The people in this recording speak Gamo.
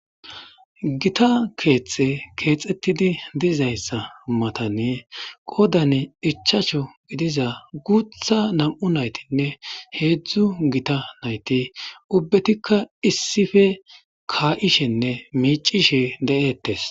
Gotta kethi kexeti dizzysa mattani qodan ichachchu gidiza guthagutha nam'u naytinne hezhu gitta nayti ubbatika issipe ka'ishine mic'ishe de'es